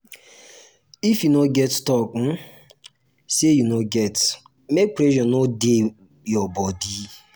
snap photo with persin wey de celebrate and personal ones to take remember di event